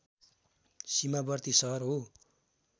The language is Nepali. सिमावर्ती सहर हो